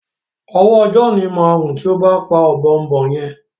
owó John má run tí o bá pá Ọ̀bọ̀ọ̀nbọọ̀n yén.